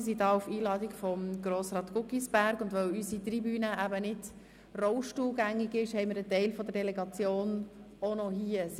Sie sind auf Einladung von Grossrat Guggisberg hier, und weil unsere Tribüne eben nicht rollstuhlgängig ist, haben wir einen Teil der Delegation auch noch hier im Saal.